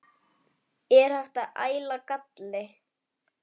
Er hægt að æla galli?